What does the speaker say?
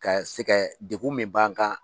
Ka se kɛ degun min b'an kan.